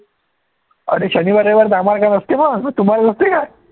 अरे शनिवार, रविवार तर आम्हाला काय नसते मग तुम्हाला नसते काय